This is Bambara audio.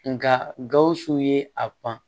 Nka gawusu ye a pan